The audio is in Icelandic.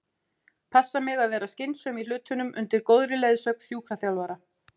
Passa mig að vera skynsöm í hlutunum undir góðri leiðsögn sjúkraþjálfara.